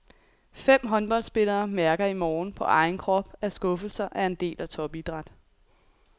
Fem håndboldspillere mærker i morgen på egen krop at skuffelser er en del af topidræt.